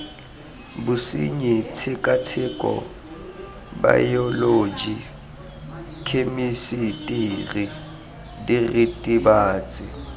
bosenyi tshekatsheko baeoloji khemisitiri diritibatsi